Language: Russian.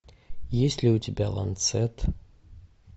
есть ли у тебя ланцет